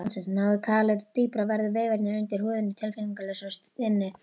Nái kalið dýpra verða vefirnir undir húðinni tilfinningalausir og stinnir.